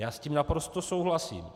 Já s tím naprosto souhlasím.